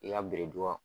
I ka biriduga